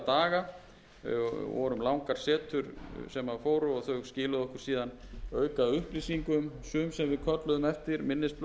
daga það voru langar setur sem fóru og þau skiluðu okkur síðan aukaupplýsingum sum sem við kölluðum eftir minnisblöðum